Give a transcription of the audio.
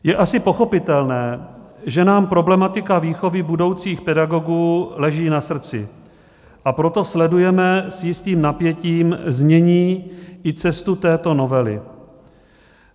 Je asi pochopitelné, že nám problematika výchovy budoucích pedagogů leží na srdci, a proto sledujeme s jistým napětím znění i cestu této novely.